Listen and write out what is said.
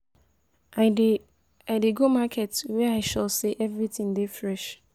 I dey I dey go market where I sure sey everytin dey fresh.